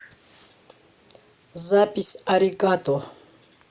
запись аригато